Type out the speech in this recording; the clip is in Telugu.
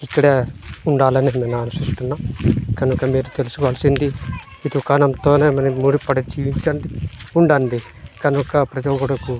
ఇక్కడ ఉండాలి అని నేను ఆలోచిస్తున్నా కనుక మీరు తెల్సుకోవలసింది ఈ దుకాణం తోనే మనకి ముడిపడి చిల్చండి ఉండండి కనుక ప్రతి ఒకడుకు --